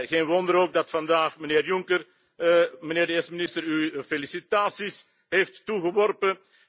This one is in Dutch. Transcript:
Geen wonder ook dat vandaag mijnheer Juncker u, mijnheer de eerste minister, felicitaties heeft toegeworpen.